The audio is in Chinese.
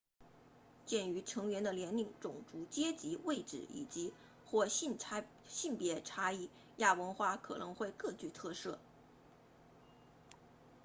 鉴于成员的年龄种族阶级位置以及或性别差异亚文化可能会各具特色